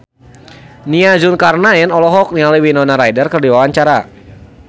Nia Zulkarnaen olohok ningali Winona Ryder keur diwawancara